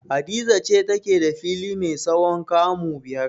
Hadiza ce take da fili mai tsawon kamu biyar.